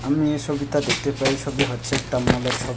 আমি এই ছবিটা দেখতে পাই এই ছবি হচ্ছে একটা মল এর ছবি।